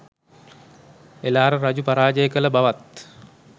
එළාර රජු පරාජය කළ බවත්